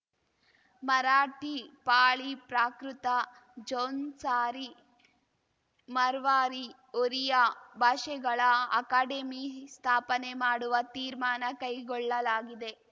ಮರಾಠಿ ಪಾಳಿ ಪ್ರಾಕೃತ ಜೌನ್ಸಾರಿ ಮರ್ವಾರಿ ಒರಿಯಾ ಭಾಷೆಗಳ ಅಕಾಡೆಮಿ ಸ್ಥಾಪನೆ ಮಾಡುವ ತೀರ್ಮಾನ ಕೈಗೊಳ್ಳಲಾಗಿದೆ